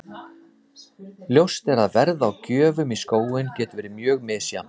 Ljóst er að verð á gjöfum í skóinn getur verið mjög misjafnt.